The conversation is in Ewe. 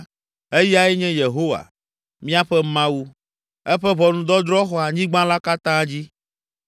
Eyae nye Yehowa, míaƒe Mawu! Eƒe ʋɔnudɔdrɔ̃ xɔ anyigba la katã dzi.